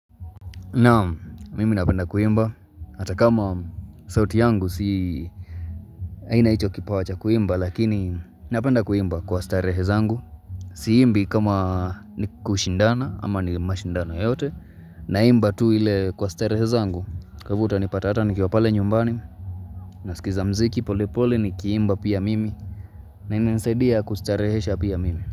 Naam mimi napenda kuimba hata kama sauti yangu si sina hicho kipawa cha kuimba lakini napenda kuimba kwa starehe zangu Siimbi kama ni kushindana ama ni mashindano yoyote naimba tu ile kwa starehe zangu Kwa ivo utanipata ata nikiwa pale nyumbani nasikiza mziki pole pole nikiimba pia mimi na inanisaidia kustarehesha pia mimi.